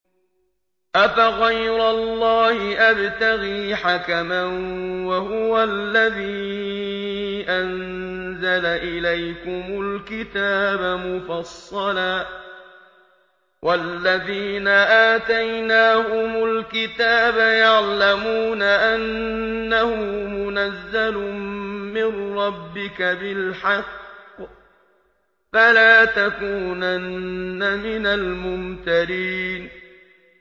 أَفَغَيْرَ اللَّهِ أَبْتَغِي حَكَمًا وَهُوَ الَّذِي أَنزَلَ إِلَيْكُمُ الْكِتَابَ مُفَصَّلًا ۚ وَالَّذِينَ آتَيْنَاهُمُ الْكِتَابَ يَعْلَمُونَ أَنَّهُ مُنَزَّلٌ مِّن رَّبِّكَ بِالْحَقِّ ۖ فَلَا تَكُونَنَّ مِنَ الْمُمْتَرِينَ